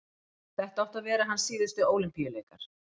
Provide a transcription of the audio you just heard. þetta áttu að vera hans síðustu ólympíuleikar